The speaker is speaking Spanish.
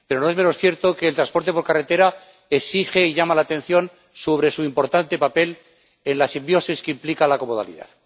Pero no es menos cierto que el transporte por carretera exige y llama la atención sobre su importante papel en la simbiosis que implica la comodalidad.